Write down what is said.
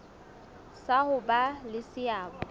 sa ho ba le seabo